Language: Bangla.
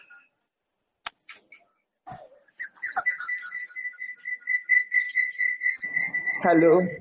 -noise hello